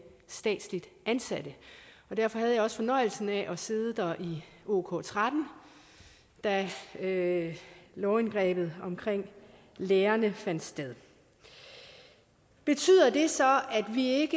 statsligt ansatte og derfor havde jeg også fornøjelsen af at sidde der i ok13 da da lovindgrebet omkring lærerne fandt sted betyder det så at vi